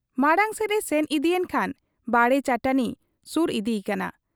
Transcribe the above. ᱢᱟᱬᱟᱝ ᱥᱮᱫ ᱮ ᱥᱮᱱ ᱤᱫᱤᱭᱮᱱ ᱠᱷᱟᱱ ᱵᱟᱲᱮ ᱪᱟᱹᱴᱟᱹᱱᱤ ᱥᱩᱨ ᱤᱫᱤ ᱟᱠᱟᱱᱟ ᱾